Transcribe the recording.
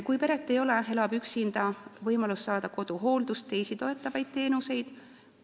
Kui peret aga ei ole, ta elab üksinda, siis on võimalus saada koduhooldust ja teisi toetavaid teenuseid.